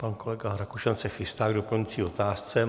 Pan kolega Rakušan se chystá k doplňující otázce.